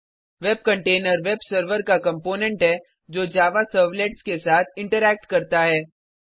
web container web server का component है जो जावा सर्वलेट्स के साथ इंटरैक्ट करता है